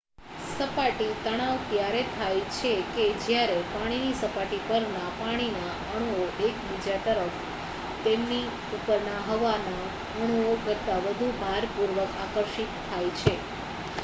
સપાટી તણાવ ત્યારે થાય છે કે જ્યારે પાણીની સપાટી પરના પાણીના અણુઓ એકબીજા તરફ તેમની ઉપરના હવાના અણુઓ કરતા વધુ ભારપૂર્વક આકર્ષિત થાય છે